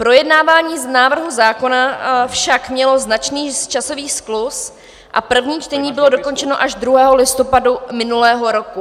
Projednávání návrhu zákona však mělo značný časový skluz a první čtení bylo dokončeno až 2. listopadu minulého roku.